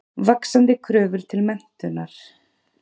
Vaxandi kröfur til menntunar.